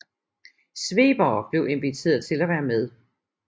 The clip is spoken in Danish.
Svebere blev inviteret til at være med